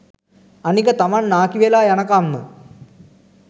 අනික තමන් නාකිවෙලා යනකම්ම